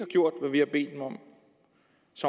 lever